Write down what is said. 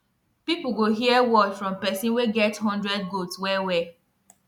people go hear word from person wey get hundred goat wellwell